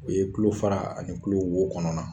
U ye tulo fara ani tulo wo kɔnɔna